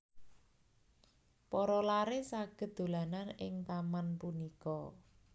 Para laré saged dolanan ing taman punika